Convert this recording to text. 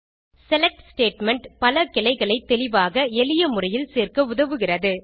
select statement பல கிளைகளை தெளிவாக எளிய முறையில் சேர்க்க உதவுகிறது